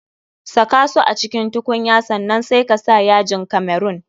Saka su a cikin tukunya sannan sai ka sa yajin kamerun.